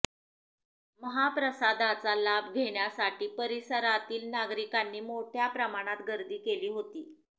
महाप्रसादाचा लाभ घेण्यासाठी परिसरातील नागरिकांनी मोठ्या प्रमाणात गर्दी केली होती